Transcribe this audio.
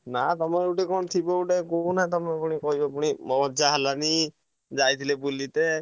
ନା ତମର ଗୋଟେ କଣ ଥିବ ଗୋଟେ କହୁନା ତମେ ନହେଲେ ପୁଣି କହିବ ମଜା ହେଲାନି ଯାଇଥିଲେ ବୁଲିତେ।